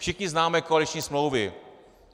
Všichni známe koaliční smlouvy.